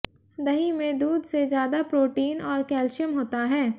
दही में दूध से ज्यादा प्रोटीन और कैल्शियम होता है